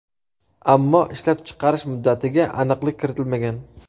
Ammo ishlab chiqarish muddatiga aniqlik kiritilmagan.